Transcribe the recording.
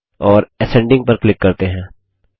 और असेंडिंग पर क्लिक करते हैं